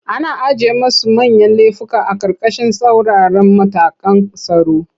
Ana ajiye masu manyan lefuka a ƙarƙashin tsauraran matakan tsaro.